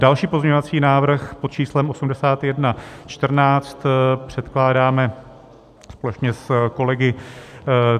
Další pozměňovací návrh pod číslem 8114 předkládáme společně s kolegy.